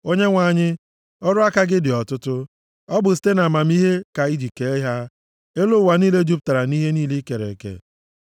Onyenwe anyị, ọrụ aka gị dị ọtụtụ. Ọ bụ site nʼamamihe ka i ji kee ha. Elu ụwa niile jupụtara nʼihe niile i kere eke.